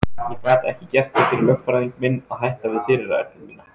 Ég gat ekki gert það fyrir lögfræðing minn að hætta við fyrirætlun mína.